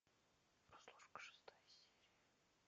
прослушка шестая серия